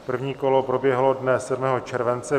První kolo proběhlo dne 7. července.